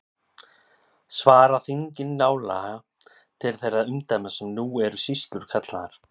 Svara þingin nálega til þeirra umdæma sem nú eru sýslur kallaðar.